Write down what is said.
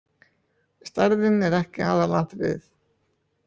Stærðin er ekki aðalatriðið.